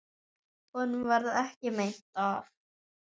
Honum varð ekki meint af.